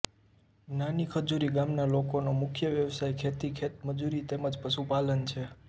નાની ખજુરી ગામના લોકોનો મુખ્ય વ્યવસાય ખેતી ખેતમજૂરી તેમ જ પશુપાલન છે